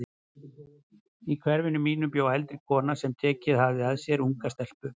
Í hverfinu mínu bjó eldri kona sem tekið hafði að sér unga stelpu.